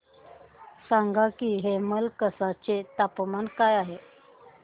सांगा की हेमलकसा चे तापमान काय आहे